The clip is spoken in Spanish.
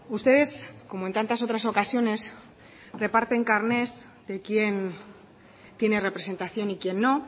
ustedes como en tantas otras ocasiones reparten carnets de quién tiene representación y quién no